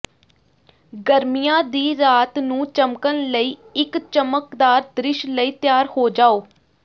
ਗਰਮੀਆਂ ਦੀ ਰਾਤ ਨੂੰ ਚਮਕਣ ਲਈ ਇਕ ਚਮਕਦਾਰ ਦ੍ਰਿਸ਼ ਲਈ ਤਿਆਰ ਹੋ ਜਾਓ